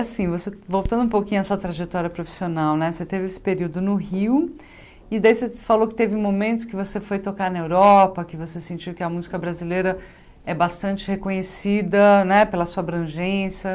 Assim, você voltando um pouquinho a sua trajetória profissional, você teve esse período no Rio, e daí você falou que teve momentos que você foi tocar na Europa, que você sentiu que a música brasileira é bastante reconhecida né pela sua abrangência.